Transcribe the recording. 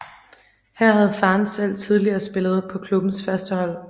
Her havde faren selv tidligere spillet på klubbens førstehold